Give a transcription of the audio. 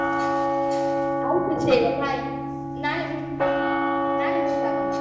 ಹ್ಮ್ ಆಯ್ತು ಶ್ರೇಯ bye ನಾಳೆ meet ನಾಳೆ meet ಆಗೋಣ.